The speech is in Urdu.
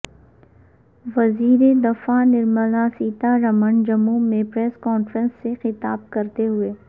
وزیر دفاع نرملا سیتا رمن جموں میں پریس کانفرنس سے خطاب کرتے ہوئے